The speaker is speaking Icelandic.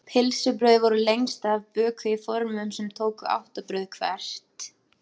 pylsubrauð voru lengst af bökuð í formum sem tóku átta brauð hvert